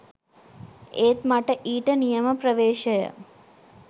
ඒත් මට ඊට නියම ප්‍රවේශය